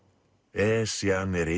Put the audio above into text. Esjan er